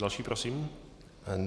Další prosím.